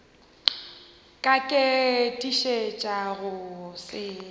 ka ke tiišetša go se